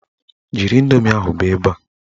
Jiri indoomi ahụ bịa ebe a!